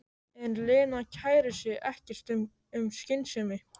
En Lena kærir sig ekkert um skynsemi.